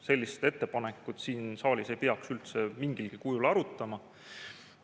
Sellist ettepanekut siin saalis ei peaks üldse mingilgi kujul arutama.